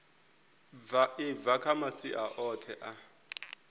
bva kha masia oṱhe a